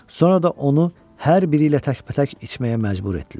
Sonra da onu hər biri ilə təkbətək içməyə məcbur etdilər.